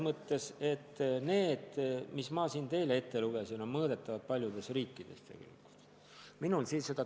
Ma lugesin siin teile ette andmed, mis on mõõdetavad ja paljudes riikides olemas.